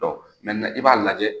i b'a lajɛ